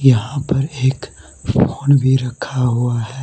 यहां पर एक फोन भी रखा हुआ है।